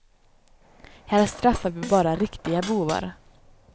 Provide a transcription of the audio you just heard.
Här straffar vi bara riktiga bovar.